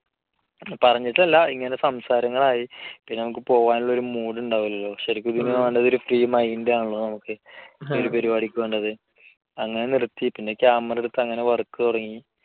പറഞ്ഞിട്ടല്ല ഇങ്ങനെ സംസാരങ്ങൾ ആയി. പിന്നെ നമുക്ക് പോകാനുള്ള ഒരു mood ഉണ്ടാവില്ലല്ലോ. ശരിക്കും ഇതിനു വേണ്ടത് ഒരു free mind ആണല്ലോ നമുക്ക്. ഈ പരിപാടിക്ക് വേണ്ടത്. അങ്ങനെ നിർത്തി. പിന്നെ camera എടുത്ത അങ്ങനെ work തുടങ്ങി.